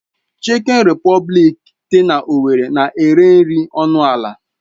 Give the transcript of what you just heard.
Chikin Repọblikị dị na owerri na-ere nri ọnụ ala.